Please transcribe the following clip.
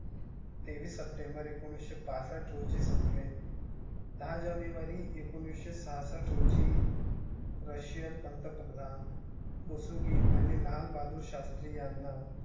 तेवीस saptember एकोणीस पासष्ट रोजी संपले. दहा जानेवारी एकोणीस छप्पष्ट रोजी. rasian पंतप्रधान कुसुम गिनी आणि लाल बहादुर शास्त्री यांना